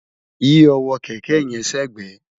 yí ọwọ́ kẹ̀kẹ́ yẹn sẹ́gbẹ̀ẹ̀!